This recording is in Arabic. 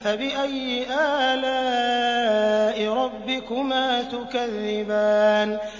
فَبِأَيِّ آلَاءِ رَبِّكُمَا تُكَذِّبَانِ